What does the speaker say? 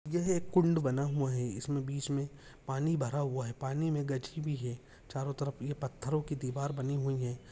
कुंड बना हुआ है इसमे बीच मे पानी भरा हुआ है पानी मे गाजी भी है चारों तरफ पथरों की दिवार बनी हुई है।